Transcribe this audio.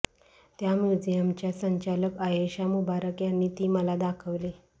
त्या म्युझियमच्या संचालक आयेशा मुबारक यांनी ती मला दाखवली